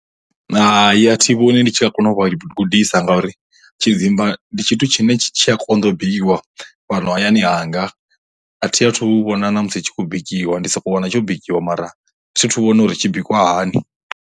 Hai, a thi vhoni ndi tshi nga kona u vha gudisa ngauri tshidzimba ndi tshithu tshine tshi a konḓa bikiwa fhano hayani hanga, a thi a thu vhona na musi tshi khou bikiwa ndi soko wana tsho bikiwa mara thi thu vhona uri tshi bikwa hani.